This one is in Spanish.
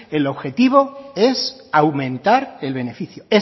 el objetivo es aumentar el beneficio